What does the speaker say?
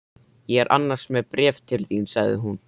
Ég er annars með bréf til þín sagði hún.